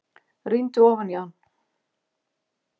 Rýndi ofan í hann.